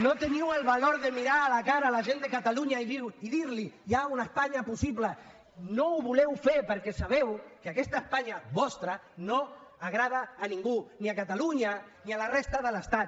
no teniu el valor de mirar a la cara la gent de catalunya i dir li hi ha una espanya possible no ho voleu fer perquè sabeu que aquesta espanya vostra no agrada a ningú ni a catalunya ni a la resta de l’estat